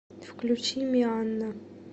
включи мианна